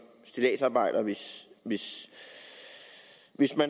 stilladsarbejder hvis hvis jeg